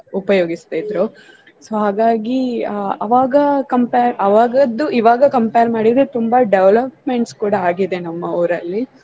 ಉಪಯೋಗಿಸ್ತಿದ್ರೂ. So ಹಾಗಾಗಿ ಆ ಅವಾಗ compare ಆವಾಗಿದ್ದು ಇವಾಗ compare ಮಾಡಿದ್ರೆ ತುಂಬಾ developments ಕೂಡ ಆಗಿದೆ ನಮ್ಮಊರಲ್ಲಿ.